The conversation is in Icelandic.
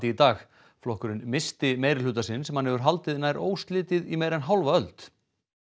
í dag flokkurinn missti meirihluta sinn sem hann hefur haldið nær óslitið í meira en hálfa öld